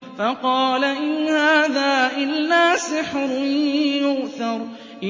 فَقَالَ إِنْ هَٰذَا إِلَّا سِحْرٌ يُؤْثَرُ